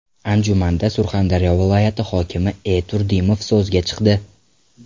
Anjumanda Surxondaryo viloyati hokimi E. Turdimov so‘zga chiqdi.